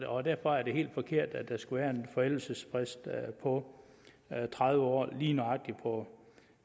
og derfor er det helt forkert at der skulle være en forældelsesfrist på tredive år lige nøjagtig på